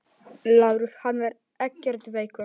LÁRUS: Hann er ekkert veikur.